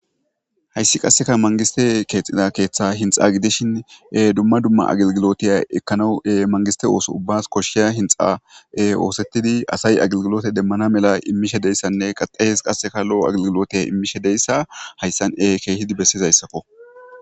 Hayssi qasseka mangiste keexxida keeththa hintsa gidishin, dumma dumma agilgilotiya ekkanawu mangiste ooso ubbas koshshiya hintsa oosettidi asay agilgilote demmana mela immishe deyssanne qaxayees qasseka lo'o agilgilotiya immishe deyssa hayssan ekeehidi bessiza issako.